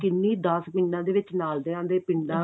ਕਿੰਨੀ ਦਸ ਪਿੰਡਾ ਦੇ ਵਿੱਚ ਨਾਲ ਦੇ ਪਿੰਡਾ